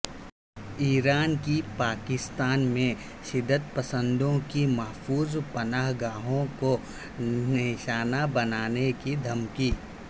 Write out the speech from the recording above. ایران کی پاکستان میں شدت پسندوں کی محفوظ پناہ گاہوں کو نشانہ بنانے کی دھمکی